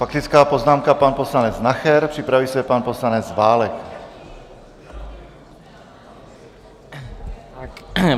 Faktická poznámka pan poslanec Nacher, připraví se pan poslanec Válek.